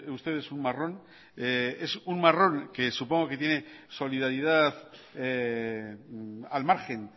ustedes un marrón es un marrón que supongo que tiene solidaridad al margen